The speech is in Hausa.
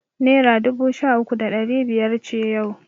Naira dubu sha uku da ɗari biyar ce yau.